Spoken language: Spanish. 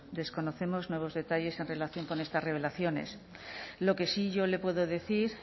desconocemos nuevos detalles en relación con estas revelaciones lo que sí yo le puedo decir